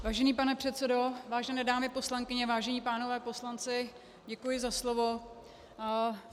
Vážený pane předsedo, vážené dámy poslankyně, vážení pánové poslanci, děkuji za slovo.